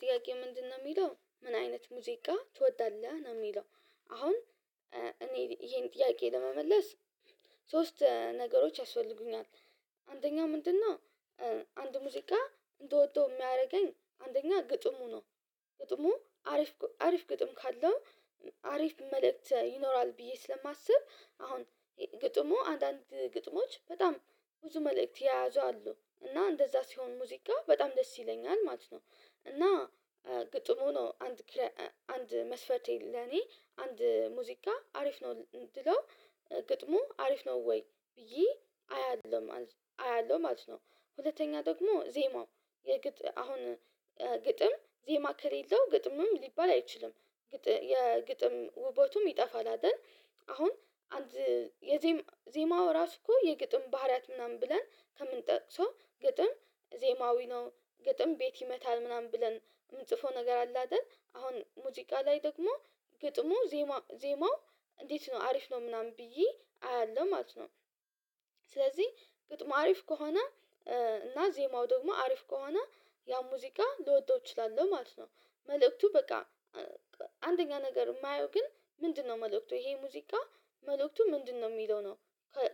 ጥያቄ ምንድነው የሚለው ምን አይነት ሙዚቃ ትወዳለህ ነው የሚለው? አሁን እኔ ይሄን ጥያቄ ለመመለስ ሶስት ነገሮች ያስፈልጉኛል። አንደኛ ምንድነው አንድ ሙዚቃ እንደወጣሁ የሚያደርገኝ አንደኛ ግጥሙ ነው። ግጥሙ አሪፍ አሪፍ ግጥም ካለ አሪፍ መልእክት ይኖራል ብዬ ስለማስብ አሁን ግጥሙ አንዳንድ ግጥሞች በጣም ብዙ መልእክት የያዙ አሉ እና እንደዛ ሲሆን ሙዚቃ በጣም ደስ ይለኛል ማለት ነው። እና ግጥሙ ነው አንድ አንድ መስፈቴ ለኔ አንድ ሙዚቃ አሪፍ ነው። ድሮ ግጥሙ አሪፍ ነው ወይ ይሄ አያለሁ ማለት ነው። ሁለተኛ ደግሞ ዜማው አሁን ግጥም ዜማ ከሌለው ግጥምም ሊባል አይችልም። የግጥም ውበቱም ይጠፋል አይደል? አሁን የዜማው ራሱ እኮ የግጥም ባህሪያት ምናምን ብለን ከምንጠቅሰው ግጥም ዜማዊ ነው። ግጥም ቤት ይመታል ምናምን ብለን የምንጽፈው ነገር አለ አይደል? አሁን ሙዚቃ ላይ ደግሞ ግጥሙ ዜማ ዜማ እንዴት ነው አሪፍ ነው ምናምን ብዬ አያለሁ ማለት ነው። ስለዚህ ግጥም አሪፍ ከሆነ እና ዜማው ደግሞ አሪፍ ከሆነ ያ ሙዚቃ ልወደው እችላለሁ ማለት ነው። መልእክቱ በቃ አንደኛ ነገር የማየው ግን ምንድነው መልእክቱ ይሄ ሙዚቃ መልእክቱ ምንድነው የሚለው ነው?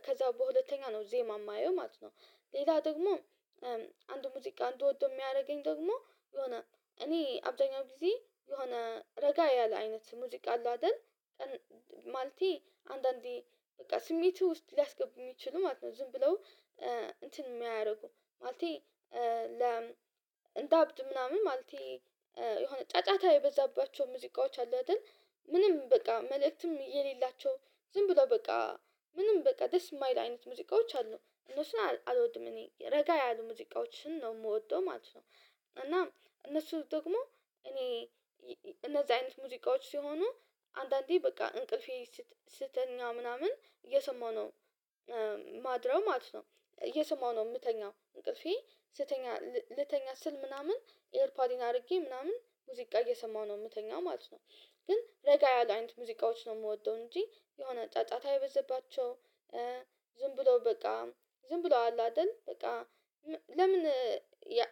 ከዛ በሁለተኛ ነው ዜማ የማየው ማለት ነው። ሌላ ደግሞ አንድ ሙዚቃ አንድ ወዶ የሚያደርገኝ ደግሞ የሆነ እኔ አብደኛው ጊዜ የሆነ ረጋ ያለ አይነት ሙዚቃ አለው አይደል? ማልቲ አንዳንዴ በቃ ስሜት ውስጥ ሊያስገቡ የሚችሉ ማለት ነው ዝም ብለው እንትን የሚያደርጉ ማለቴ ለ እንደ አብድ ምናምን ማለቴ የሆነ ጫጫታ የበዛባቸው ሙዚቃዎች አሉ አይደል? ምንም በቃ መልእክትም የሌላቸው ዝም ብሎ በቃ ምንም በቃ ደስ የማይል አይነት ሙዚቃዎች አሉ። እነሱን አልወድም እኔ ረጋ ያሉ ሙዚቃዎችን ነው የምወደው ማለት ነው። እና እነሱ ደግሞ እኔ እነዚህ አይነት ሙዚቃዎች ሲሆኑ አንዳንዴ በቃ እንቅልፌ ስተኛ ምናምን እየሰማሁ ነው። ማድረግ ማለት ነው እየሰማሁ ነው የምተኛው እንቅልፌ ስተኛ ልተኛ ስል ምናምን ኤርፓዲን አድርጌ ምናምን ሙዚቃ እየሰማሁ ነው የምተኛው ማለት ነው። ግን ረጋ ያለ አይነት ሙዚቃዎች ነው የምወደው እንጂ የሆነ ጫጫታ የበዘባቸው። ዝም ብሎ በቃ ዝም ብሎ አለ አይደል በቃ? ለምን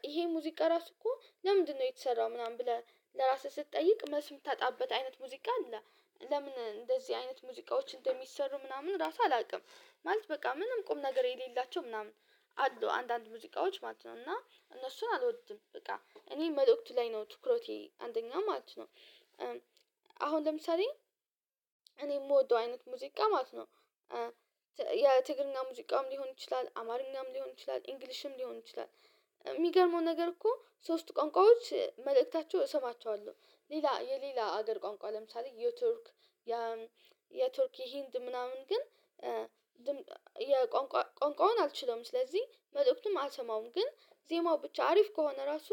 ይሄ ሙዚቃ ራሱ እኮ ለምንድነው የተሰራው ምናምን ብለህ ለራስህ ስትጠይቅ መስም ታጣበት አይነት ሙዚቃ አለ? ለምን እንደዚህ አይነት ሙዚቃዎች እንደሚሰሩ ምናምን ራሱ አላውቅም። ማለት በቃ ምንም ቁም ነገር የሌላቸው ምናምን አሉ አንዳንድ ሙዚቃዎች ማለት ነው። እና እነሱን አልወድም በቃ እኔ መልእክቱ ላይ ነው ትኩረቴ አንደኛ ማለት ነው። አሁን ለምሳሌ እኔ የምወደው አይነት ሙዚቃ ማለት ነው። የትግርኛና ሙዚቃም ሊሆን ይችላል አማርኛም ሊሆን ይችላል ኢንግሊሽም ሊሆን ይችላል። የሚገርመው ነገር እኮ ሶስቱ ቋንቋዎች መልእክታቸው እሰማቸዋለሁ። ሌላ የሌላ ሀገር ቋንቋ ለምሳሌ የቱርክ የቱርክ ህንድ ምናምን ግን የቋንቋውን አልችለውም ስለዚህ መልእክቱም አልሰማውም። ግን ዜማው ብቻ አሪፍ ከሆነ ራሱ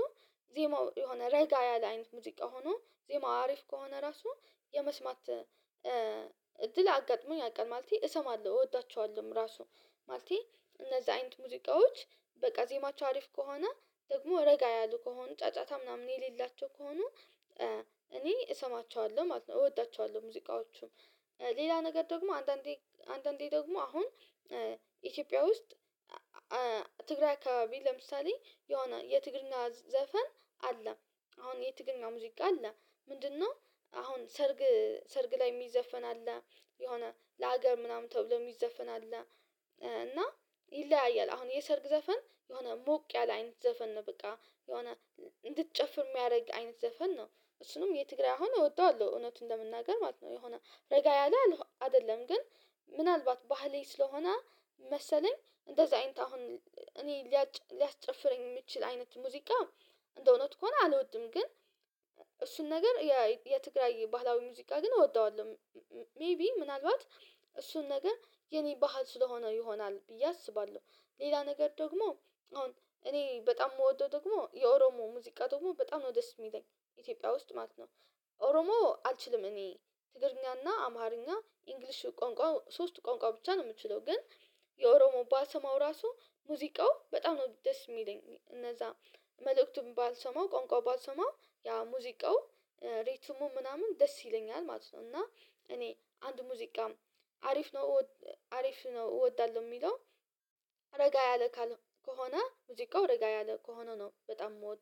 ዜማው የሆነ ረጋ ያለ አይነት ሙዚቃ ሆኖ ዜማው አሪፍ ከሆነ ራሱ የመስማት እድል አጋጥሞኝ አውቃለሁ ማለቴ እሰማለሁ እወዳቸዋለሁ። ራሱ ማለቴ እነዛ አይነት ሙዚቃዎች በቀዜማቸው አሪፍ ከሆነ ደግሞ ረጋ ያሉ ከሆነ ጫጫታ ምናምን የሌላቸው ከሆኑ። እኔ እሰማቸዋለሁ እወዳቸዋለሁ ሙዚቃዎቹም። ሌላ ነገር ደግሞ አንዳንዴ አንዳንዴ ደግሞ አሁን ኢትዮጵያ ውስጥ ትግራይ ከባቢ ለምሳሌ የሆነ የትግርና ዘፈን አለ። አሁን የትግርና ሙዚቃ አለ። ምንድነው? አሁን ሰርግ ሰርግ ላይ የሚዘፈን አለ። የሆነ ለሀገር ምናምን ተብሎ የሚዘፈን አለ። እና ይለያያል አሁን የሰርግ ዘፈን የሆነ ሞቅ ያለ አይነት ዘፈን ነው። በቃ የሆነ እንድትጨፍር የሚያደርግ አይነት ዘፈን ነው። እሱንም የትግራይ አሁን እወደዋለሁ እውነቱን ለመናገር ማለት ነው። የሆነ ረጋ ያለ አይደለም ግን ምናልባት ባህሌ ስለሆነ መሰለኝ እንደዛ አይንት አሁን እኔ ሊያጭፍረኝ የምችል አይነት ሙዚቃ እንደው ኖት ከሆነ አልወድም። ግን እሱን ነገር የትግራይ ባህላዊ ሙዚቃ ግን እወደዋለሁ። ሜይቢ ምናልባት እሱን ነገ የኔ ባህል ስለሆነ ይሆናል ብዬ አስባለሁ። ሌላ ነገር ደግሞ አሁን እኔ በጣም የምወደው ደግሞ የኦሮሞ ሙዚቃ ደግሞ በጣም ነው ደስ የሚለኝ ኢትዮጵያ ውስጥ ማለት ነው። ኦሮሞ አልችልም እኔ ትገርኛና አማርኛ እንግሊሽ ቋንቋ ሶስት ቋንቋ ብቻ ነው የምችለው። ግን የኦሮሞ ባሰማው ራሱ ሙዚቃው በጣም ነው ደስ የሚለኝ እነዛ መልእክቱን ባልሰማው ቆንቋው ባልሰማው ያ ሙዚቃው ሪትሙ ምናምን ደስ ይለኛል ማለት ነው። እና እኔ አንድ ሙዚቃም አሪፍ ነው አሪፍ ነው እወዳለሁ የሚለው ረጋ ያለ ከሆነ ሙዚቃው ረጋ ያለ ከሆነ ነው በጣም የምወደው